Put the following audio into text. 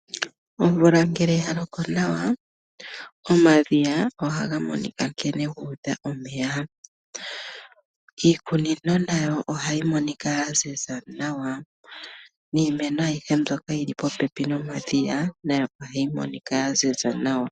Omvula ngele yaloko nawa omadhiya ohaga monika nkene guudha omeya. Iikunino nayo ohayi monika yaziza nawa niimeno aihe mbyoka yili popepi momadhiya ohayi monika yaziza nawa.